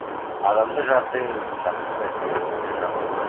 адамды жаты емес жақыны жүрегіне жақыны